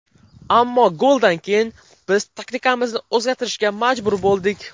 Ammo goldan keyin biz taktikamizni o‘zgartirishga majbur bo‘ldik.